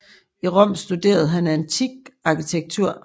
I Rom studerede han antik arkitektur